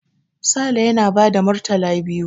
Sale yana ba da murtala biyu.